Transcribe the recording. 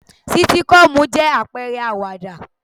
Sítíkọ́ọ̀mù jẹ́ àpẹrẹ àwàdà.